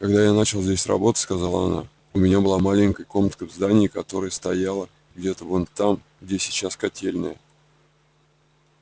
когда я начала здесь работать сказала она у меня была маленькая комнатка в здании которое стояло где-то вон там где сейчас котельная